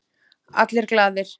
Allir glaðir.